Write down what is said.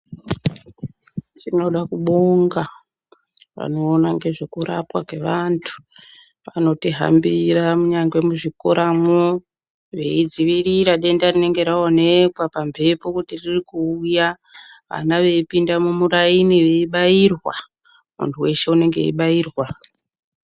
Tinoda kubonga vanoona zvekurapwa kwe antu vanotihambira kunyangwe muzvikoramo weidziwirira denda rinenge raonekwa pamhepo kuti riri kuuya ana veipinda mumuraini weibairwa muntu weshe unenge weibairwa.